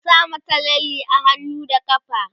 ku sa mata lalle a hannu da ƙafa!